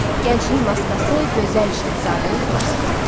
Gənclik maskası gözəl şahzadəni xilas eləyib.